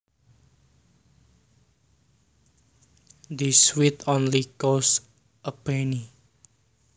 This sweet only costs a penny